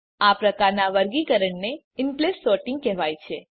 આ પ્રકારનાં વર્ગીકરણને ઇનપ્લેસ સોર્ટીંગ કહેવાય છે